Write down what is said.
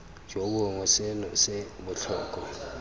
jo bongwe seno se botlhokwa